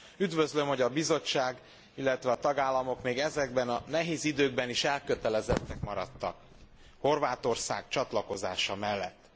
Üdvözlöm, hogy a Bizottság, illetve a tagállamok még ezekben a nehéz időkben is elkötelezettek maradtak Horvátország csatlakozása mellett.